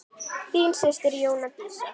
Þín systir Jóna Dísa.